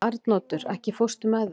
Arnoddur, ekki fórstu með þeim?